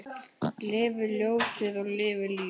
Lifi ljósið og lifi lífið!